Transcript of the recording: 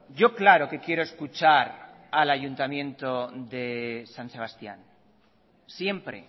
yo claro que quiero escuchar al ayuntamiento de san sebastián siempre